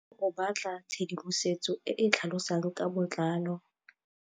Tlhalefô o batla tshedimosetsô e e tlhalosang ka botlalô.